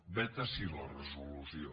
vet ací la resolució